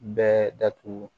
Bɛɛ datugu